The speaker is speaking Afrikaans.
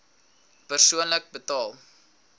persoonlik betaal